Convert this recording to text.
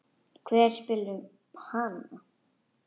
Hver spyr um hana?